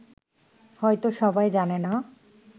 হয়ত সবাই জানে না